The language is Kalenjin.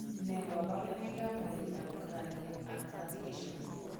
Nee kabarunoikab koroitoab Cranioacrofacial?